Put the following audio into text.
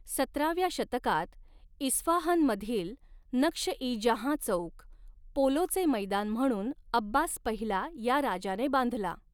सतराव्या शतकात, इस्फहानमधील नक्श इ जहाँ चौक, पोलोचे मैदान म्हणून अब्बास पहिला या राजाने बांधला.